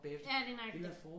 Ja lige nøjagtig